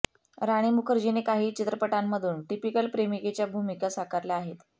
राणी मुखर्जीने काही चित्रपटांमधून टिपीकल प्रेमिकेच्या भूमिका साकारल्या आहेत